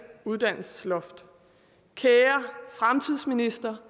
uddannelsesloft kære fremtidsminister